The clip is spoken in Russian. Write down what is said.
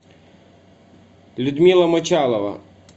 людмила мочалова